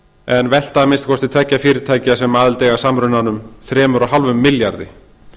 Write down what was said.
en velta að minnsta kosti tveggja fyrirtækja sem aðild eiga að samrunanum þrjú og hálfum milljarði